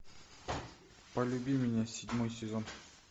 полюби меня седьмой сезон